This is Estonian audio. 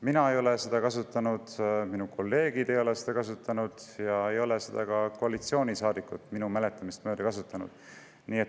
Mina ei ole seda kasutanud, minu kolleegid ei ole seda kasutanud ja minu mäletamist mööda ei ole seda kasutanud ka teised koalitsioonisaadikud.